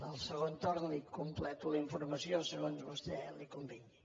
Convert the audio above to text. en el segon torn li completo la informació segons a vostè li convingui